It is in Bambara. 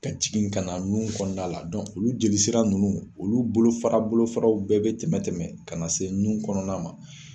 Ka jigin ka na nun kɔnɔna la , olu jeli sira nunnu olu bolofa bolofaraw bɛɛ bɛ tɛmɛ tɛmɛ ka na se nun kɔnɔna ma.